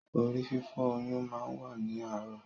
Orí-fífọ́ oyún máa n wa ni aarọ.